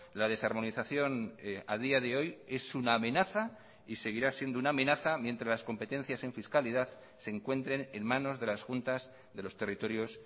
la desarmonización a día de hoy es una amenaza y seguirá siendo una amenaza mientras las competencias en fiscalidad se encuentren en manos de las juntas de los territorios